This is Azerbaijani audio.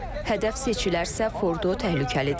Hədəf seçilərsə, Fordo təhlükəlidir.